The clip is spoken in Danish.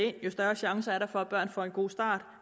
ind jo større chancer er der for at børn får en god start